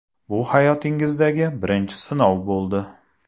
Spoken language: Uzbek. Bu hayotingizdagi birinchi sinov bo‘ldi.